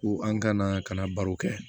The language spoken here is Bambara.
Ko an kana ka na baro kɛ